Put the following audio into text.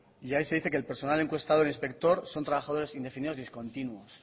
y ahí se dice que el personal encuestador e inspector son trabajadores indefinidos discontinuos